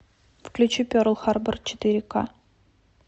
включи перл харбор четыре ка